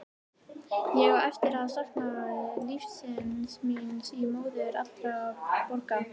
Ég á eftir að sakna lífsins míns í móður allra borga.